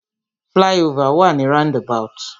Fly-over wà ni roundabout.